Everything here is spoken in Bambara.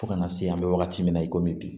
Fo kana se an bɛ wagati min na i komi bi